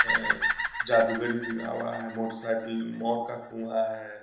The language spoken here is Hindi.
अ जादूगरी लिखा हुआ है। मोटरसाइकिल मौत का कुआँ है।